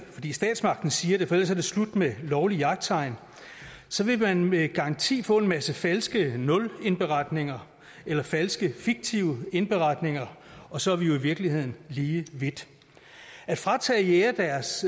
fordi statsmagten siger det for ellers er det slut med lovligt jagttegn så vil man med garanti få en masse falske nulindberetninger eller falske fiktive indberetninger og så er vi jo i virkeligheden lige vidt at fratage jægere deres